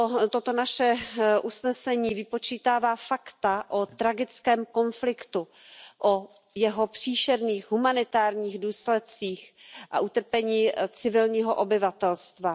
Toto naše usnesení vypočítává fakta o tragickém konfliktu, o jeho příšerných humanitárních důsledcích a utrpení civilního obyvatelstva.